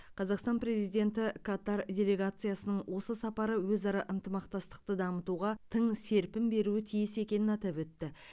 қазақстан президенті катар делегациясының осы сапары өзара ынтымақтастықты дамытуға тың серпін беруі тиіс екенін атап өтті